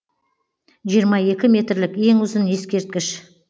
жиырма екі метрлік ең ұзын ескерткіш